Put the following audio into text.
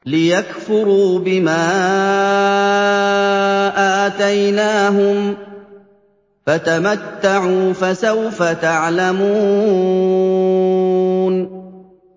لِيَكْفُرُوا بِمَا آتَيْنَاهُمْ ۚ فَتَمَتَّعُوا فَسَوْفَ تَعْلَمُونَ